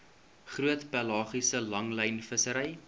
groot pelagiese langlynvissery